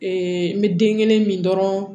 n bɛ den kelen min dɔrɔn